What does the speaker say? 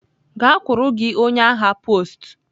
Gakwuru gị onye agha post!